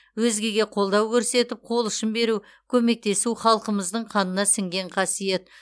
өзгеге қолдау көрсетіп қол ұшын беру көмектесу халқымыздың қанына сіңген қасиет